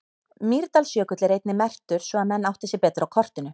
Mýrdalsjökull er einnig merktur svo að menn átti sig betur á kortinu.